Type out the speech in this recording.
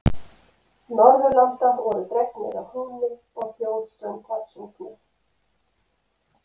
Norðurlanda voru dregnir að húni og þjóðsöngvar sungnir.